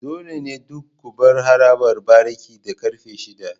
Dole ne duk ku bar harabar bariki da karfe shida.